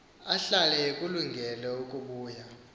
ahlale ekulungele ukubuya